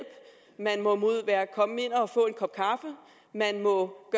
man må komme ind og få en kop kaffe og man må